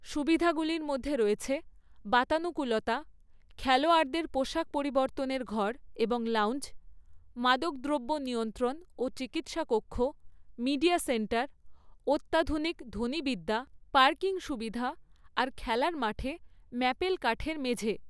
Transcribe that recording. সুবিধাগুলির মধ্যে রয়েছে বাতানুকূলতা, খেলোয়াড়দের পোশাক পরিবর্তনের ঘর এবং লাউঞ্জ, মাদকদ্রব্য নিয়ন্ত্রণ ও চিকিৎসা কক্ষ, মিডিয়া সেন্টার, অত্যাধুনিক ধ্বনিবিদ্যা, পার্কিং সুবিধা আর খেলার মাঠে ম্যাপেল কাঠের মেঝে।